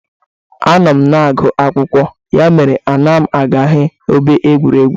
Anọ m na-agụ akwụkwọ, ya mere anaghị m aga ebe egwuregwu